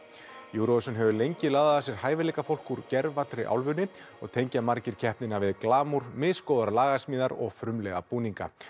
Eurovision hefur lengi laðað að sér hæfileika fólk úr gervallri álfunni og tengja margir keppnina við misgóðar lagasmíðar og frumlega búninga